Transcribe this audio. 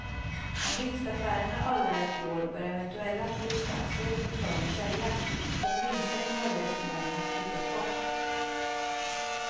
Om vinstaffärerna övervägt i år bör eventuella förlustaktier i portföljen säljas, så att vinsterna i möjligaste mån kan kvittas bort.